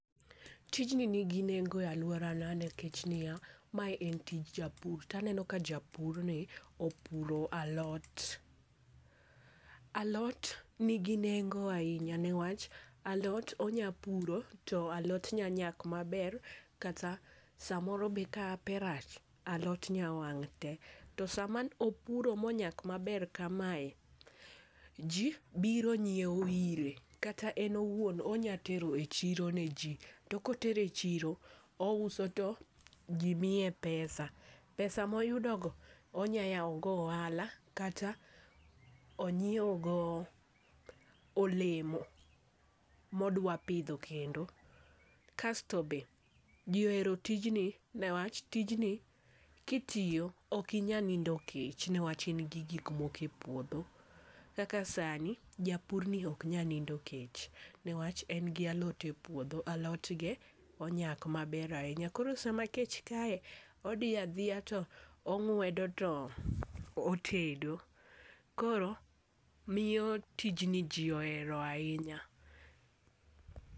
Tijni nigi nengo e aluorana nikech niya, mae en tij japur. To aneno ka japurni opuro alot. Alot nigi nengo ahinya newach, alot onyapuro, to alot nyanyak maber, kata samoro be kahape rach, alot nyawang' te. To sama opuro monyak maber kamae, jii biro nyieo ire, kata en owuon onya tero e chiro ne jii. To kotero e chiro ouso to jii miye pesa. Pesa moyudogo onya yao go ohala, kata onyie go olemo modwa pidho kendo. Kasto be jii ohero tijni newach, tijni kitiyo okinyal nindo kech, newach in gi gikmoko e puodho. Kaka sani japurni oknyal nindo kech, newach en gi alot e puodho. Alotge onyak maber ahinya. Koro sama kech kae, odhi adhiya to ong'wedo to otedo. Koro miyo tijni jii ohero ahinya.